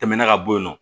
Tɛmɛna ka bɔ yen nɔ